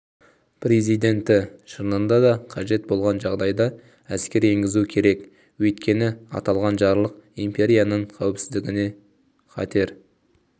президенті шынында да қажет болған жағдайда әскер енгізу керек өйткені аталған жарлық империяның қауіпсіздігіне қатер